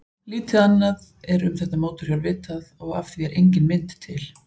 Lítið annað er um þetta mótorhjól vitað og af því er engin mynd til.